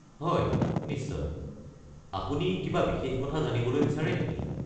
হয়, নিশ্চয়। আপুনি কিবা বিশেষ কথা জানিবলৈ বিচাৰে নেকি?